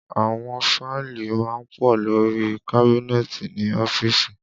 Àwọn fáìlì má ń pọ̀ lórí i kábínẹ́ẹ̀tì ní ọ́fíìsì